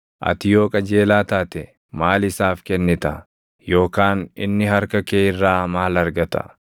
Ati yoo qajeelaa taate, maal isaaf kennita? Yookaan inni harka kee irraa maal argata?